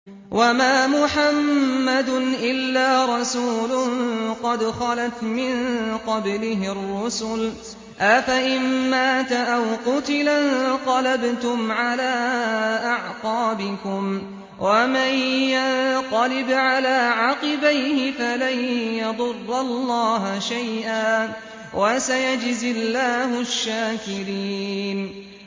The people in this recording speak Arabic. وَمَا مُحَمَّدٌ إِلَّا رَسُولٌ قَدْ خَلَتْ مِن قَبْلِهِ الرُّسُلُ ۚ أَفَإِن مَّاتَ أَوْ قُتِلَ انقَلَبْتُمْ عَلَىٰ أَعْقَابِكُمْ ۚ وَمَن يَنقَلِبْ عَلَىٰ عَقِبَيْهِ فَلَن يَضُرَّ اللَّهَ شَيْئًا ۗ وَسَيَجْزِي اللَّهُ الشَّاكِرِينَ